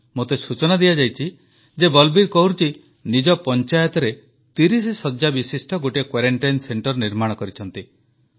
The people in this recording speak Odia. ମୋତେ ସୂଚନା ଦିଆଯାଇଛି ଯେ ବଲବୀର କୌରଜୀ ନିଜ ପଞ୍ଚାୟତରେ 30 ଶଯ୍ୟାବିଶିଷ୍ଟ ଗୋଟିଏ କ୍ବାରେଣ୍ଟାଇନ ସେଣ୍ଟର ନିର୍ମାଣ କରିଛନ୍ତି